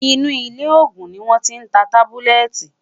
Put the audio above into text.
inú ilé ògún ní wón tí n tá tábúlẹ́tì